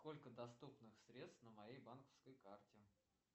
сколько доступных средств на моей банковской карте